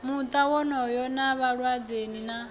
muta wonoyo na vhaledzani nawo